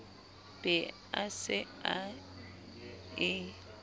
be a se a e